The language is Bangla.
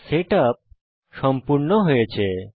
সেটআপ সম্পূর্ণ হয়েছে